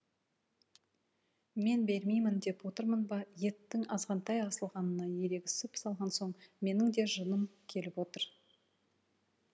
мен бермейін деп отырмын ба еттің азғантай асылғанына ерегісіп салған соң менің де жыным келіп отыр